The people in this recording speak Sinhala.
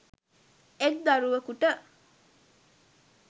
එක් දරුවකුට